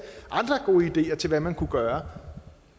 andre gode ideer til hvad man kunne gøre